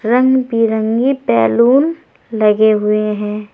रंग बिरंगे बैलून लगे हुए हैं।